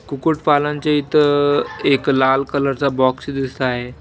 कुकूट पालनचे इथं एक लाल कलर चा बॉक्स दिसत आहे.